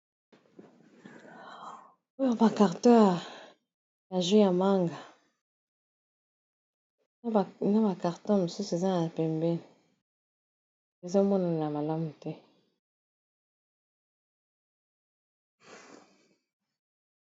Oyo ba carton ya jus ya manga na ba carton mosusu eza na pembeni ezomonana na malamu te.